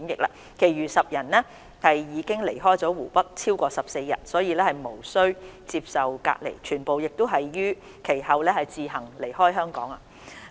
其餘10人因已離開湖北超過14日，無須接受隔離，全部亦已於其後自行離開香港。